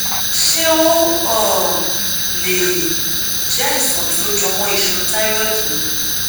ṣé ó um lè jẹ àìsàn tó jẹmọ iṣan thyroid ni